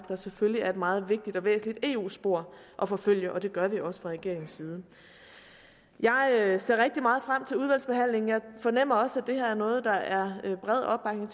der selvfølgelig er et meget vigtigt og væsentligt eu spor at forfølge og det gør vi også fra regeringens side jeg ser rigtig meget frem til udvalgsbehandlingen jeg fornemmer også at det her er noget der er bred opbakning